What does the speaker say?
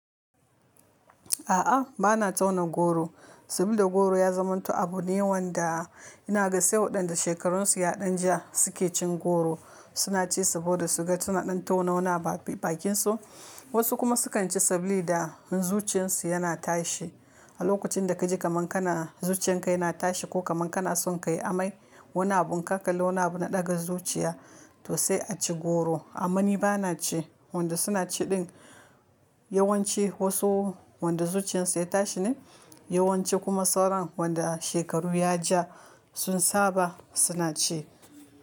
A'a, bana tauna goro sabilida goro ya zamanto abu ne wanda ina gani sai waɗan da shekarunsu ya ɗan ja suke cin goro. Suna ci saboda suga tunanin taunaona bakinsu, wasu kuma sukan ci saboda zuciyarsu yana tashi. A lokacin da kaji kaman kana zuciyan ka yana tashi ko kaman kana son ka yi amai, wani abun ka ƙale wani abu na ɗaga zuciya, to sai a ci goro. Amma ni bana ci. Wanda suna ci din yawanci wasu wanda zuciyarsu ya tashi ne, yawanci kuma sauran wanda shekaru ya ja sun saba suna ci.